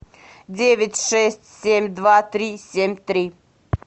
девять шесть семь два три семь три